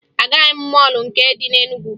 Agaghị m mọọlụ nke dị na Enugwu